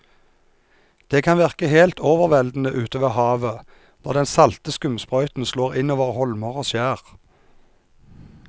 Det kan virke helt overveldende ute ved havet når den salte skumsprøyten slår innover holmer og skjær.